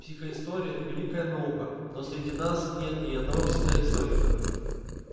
психоистория великая наука но среди нас нет ни одного психоисторика